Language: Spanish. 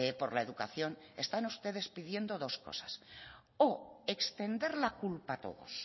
por la educación están ustedes pidiendo dos cosas o extender la culpa a todos